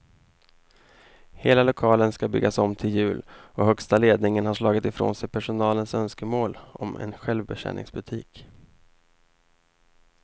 Hela lokalen ska byggas om till jul och högsta ledningen har slagit ifrån sig personalens önskemål om en självbetjäningsbutik.